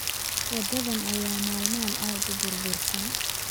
Waddadan ayaa maalmahan aad u burbursan